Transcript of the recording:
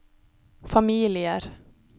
familier